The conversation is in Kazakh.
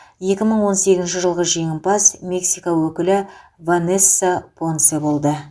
екі мың он сегізінші жылғы жеңімпаз мексика өкілі ванесса понсе болды